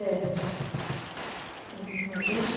É. Como é que foi isso?